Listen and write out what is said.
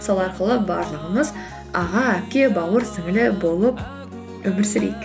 сол арқылы барлығымыз аға әпке бауыр сіңлілі болып өмір сүрейік